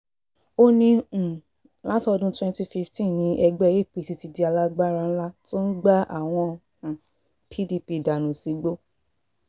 ó ní um látọdún twenty fifteen ni ẹgbẹ́ apc ti di alágbára ńlá tó ń gba àwọn um pdp dànù sígbó